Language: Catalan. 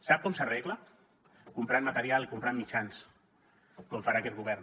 sap com s’arregla comprant material i comprant mitjans com farà aquest govern